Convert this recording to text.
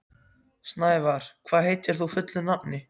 Snævar, hvað heitir þú fullu nafni?